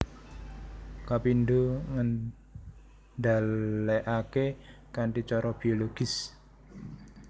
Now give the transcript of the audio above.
Kapindho ngendhalèkaké kanthi cara bologis